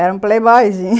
Era um playboyzinho.